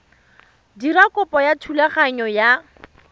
dira kopo ya thulaganyo ya